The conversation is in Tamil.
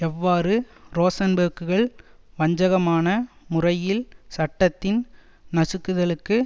எவ்வாறு ரோசன்பேர்க்குகள் வஞ்சகமான முறையில் சட்டத்தின் நசுக்குதலுக்கு